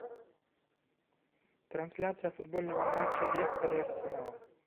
трансляция футбольного матча лестер и арсенал